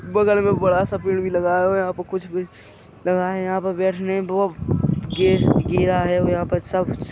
बगल बड़ा सा पेड़ भी लगा हुआ है और यहाँ पे कुछ भी लगा है यहाँ पे बैठने बो अब गेज गिरा है और यहाँ पर सब --